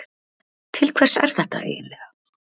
Til hvers er þetta eiginlega?